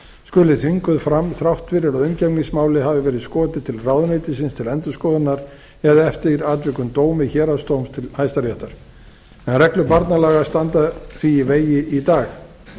skuli þvinguð fram þrátt fyrir að umgengnismáli hafi verið skotið til ráðuneytisins til endurskoðunar eða eftir atvikum dómi héraðsdóms til hæstaréttar en reglur barnalaga standa því í vegi í dag